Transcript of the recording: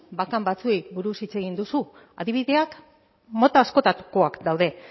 bakan batzuei buruz hitz egin duzu adibideak mota askotakoak daude